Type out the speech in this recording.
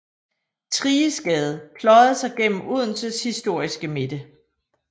Thriges Gade pløjede sig igennem Odenses historiske midte